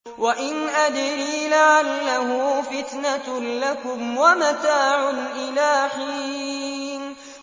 وَإِنْ أَدْرِي لَعَلَّهُ فِتْنَةٌ لَّكُمْ وَمَتَاعٌ إِلَىٰ حِينٍ